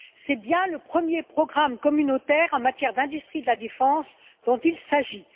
C'est bien le premier programme communautaire en matière d'industrie de la défense dont il s'agit.